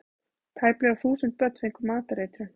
Tæplega þúsund börn fengu matareitrun